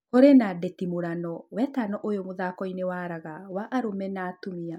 Kũrĩ na ndĩtimũrano wetano ũyũ mũthako inĩ wa raga wa arũme na atumia